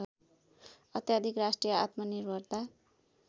अत्याधिक राष्ट्रिय आत्मनिर्भरता